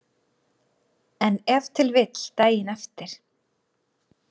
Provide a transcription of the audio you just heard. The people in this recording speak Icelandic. En ef til vill daginn eftir.